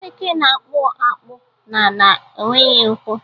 Eke na-akpụ akpụ n’ala, o nweghị ụkwụ